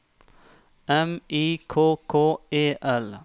M I K K E L